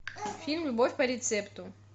фильм любовь по рецепту